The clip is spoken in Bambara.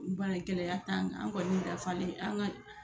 N b'a ye gɛlɛya t'an kan an kɔni dafalen an ka